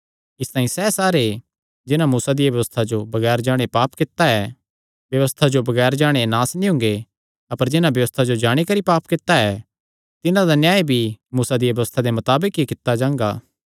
इसतांई सैह़ सारे जिन्हां मूसा दिया व्यबस्था जो बगैर जाणे पाप कित्ता ऐ व्यबस्था जो बगैर जाणे नास भी हुंगे अपर जिन्हां व्यबस्था जो जाणी करी पाप कित्ता ऐ तिन्हां दा न्याय भी मूसा दिया व्यबस्था दे मताबक ई कित्ता जांगा